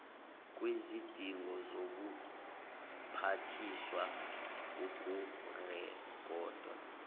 kwizidingo zobuphathiswa ukurekhoda